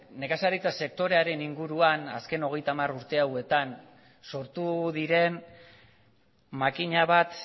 nekazaritza sektorearen inguruan azken hogeita hamar urte hauetan sortu diren makina bat